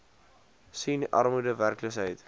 sien armoede werkloosheid